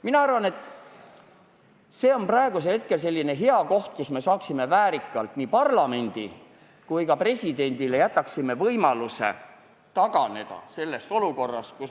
Mina arvan, et see on praegu hea võimalus, kui me väärikalt taganedes anname parlamendile ja ka presidendile võimaluse olukord lahendada.